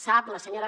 sap la senyora